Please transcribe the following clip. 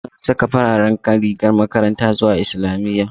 Muna saka fararen rigar makaranta zuwa islamiyya